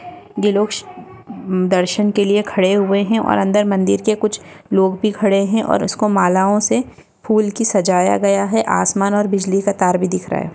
ये लोग दर्शन के लिए खड़े हुए है और अंदर मंदिर के कुछ लोग भी खड़े है और इसको मालाओ से फूल की सजाया गया है आसमान और बिजली का तार भी दिख रहा है।